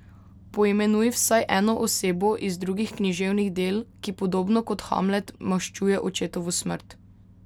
Poimenuj vsaj eno osebo iz drugih književnih del, ki podobno kot Hamlet maščuje očetovo smrt.